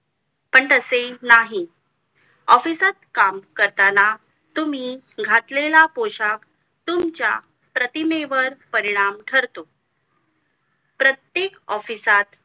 पण तसे नाही office ता काम करताना तुम्ही घातलेला पोशाख तुमच्या प्रतिमेवर परिणाम ठरतो प्रत्येक office त